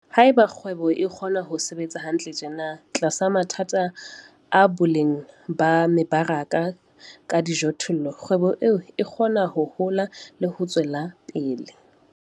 Haeba kgwebo e kgona ho sebetsa hantle tjena tlasa mathata a boleng ba mebaraka ka dijothollo, kgwebo eo e kgona ho hola le ho tswela pele.